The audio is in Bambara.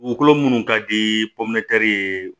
Dugukolo minnu ka di ye